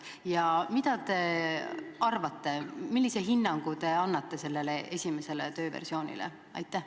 Ja kui olete, siis millise hinnangu te annate sellele esimesele tööversioonile?